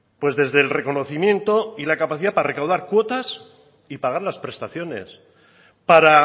pues desde el reconocimiento y la capacidad para recaudar cuotas y pagar las prestaciones para